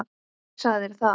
Hver sagði þér það?